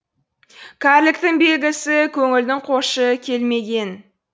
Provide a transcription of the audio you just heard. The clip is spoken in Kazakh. кәріліктің белгісі көңілдің қошы келмеген